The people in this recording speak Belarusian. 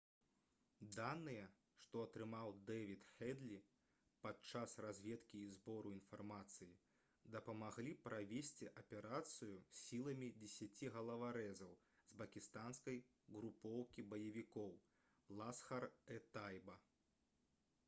даныя што атрымаў дэвід хэдлі падчас разведкі і збору інфармацыі дапамаглі правесці аперацыю сіламі 10 галаварэзаў з пакістанскай групоўкі баевікоў «ласхар-э-тайба»